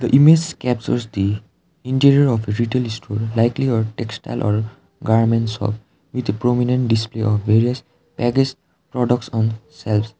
the image captures the interior of a retail store likely a textile or garment shop with a prominent display of various packaged products on shelves.